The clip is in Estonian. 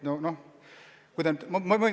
See on vaid kolm kuud!